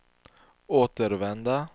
återvända